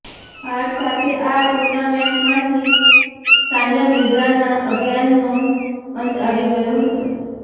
હાર સાથે આ ટુર્નામેન્ટમાંથી સાનિયા મિઝાર્નાં અભિયાનનો અંત આવી ગયો હતો